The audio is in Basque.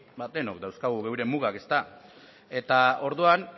denok dauzkagu geure mugak ezta eta orduan